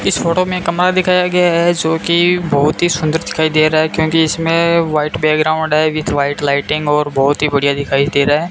इस फोटो में कमरा दिखाया गया है जोकि बहुत ही सुंदर दिखाई दे रहा है क्योंकि इसमें व्हाइट बैकग्राउंड है विथ व्हाइट लाइटिंग और बहोत ही बढ़िया दिखाई दे रहा --